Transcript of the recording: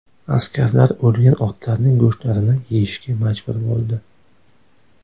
Askarlar o‘lgan otlarning go‘shtlarini yeyishga majbur bo‘ldi.